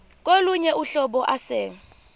kolunye uhlobo ase